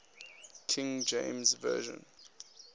king james version